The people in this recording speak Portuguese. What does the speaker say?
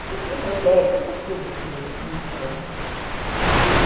O Círculo Esotérico, essas coisas assim meio místicas, né, e...